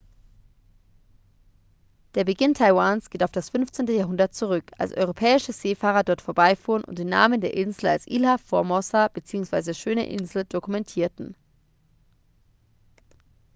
der beginn taiwans geht auf das 15. jahrhundert zurück als europäische seefahrer dort vorbeifuhren und den namen der insel als ilha formosa bzw. schöne insel dokumentierten